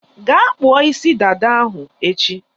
Gaa kpụọ isi dada ahụ echi!